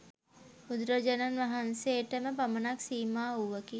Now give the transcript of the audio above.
බුදුරජාණන් වහන්සේටම පමණක් සීමා වූවකි.